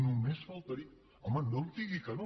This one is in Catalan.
només faltaria home no em digui que no